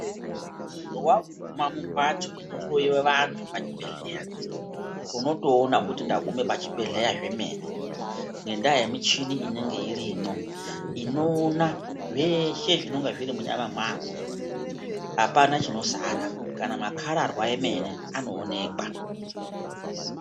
Waguma mumhatso inohloiwa vantu pachibhedheya, unotoona kuti ndaguma pachibhedhleya zvomene, ngendaa yemuchini inenge irimwo. Inoona zveshe zvinonga zviri mumyama mwako. Apana chinosara kana makhararwa omene anooneka.